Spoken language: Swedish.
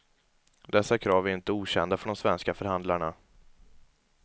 Dessa krav är inte okända för de svenska förhandlarna.